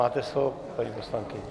Máte slovo, paní poslankyně.